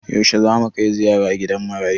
Yaushe zamu kai ziyara gidan marayu?